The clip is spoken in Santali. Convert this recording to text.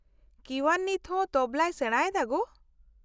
- ᱠᱤᱣᱟᱱ ᱱᱤᱛᱦᱚᱸ ᱛᱚᱵᱞᱟᱭ ᱥᱮᱲᱟ ᱮᱫᱟ ᱜᱳ ?